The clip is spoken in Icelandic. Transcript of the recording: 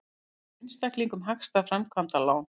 Býður einstaklingum hagstæð framkvæmdalán